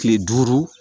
Kile duuru